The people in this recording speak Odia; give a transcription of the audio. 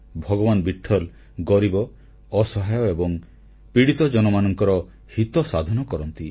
ଭଗବାନ୍ ବିଟ୍ଠଲ ଗରିବ ଅସହାୟ ଏବଂ ପୀଡ଼ିତ ଜନମାନଙ୍କର ହିତ ସାଧନ କରନ୍ତି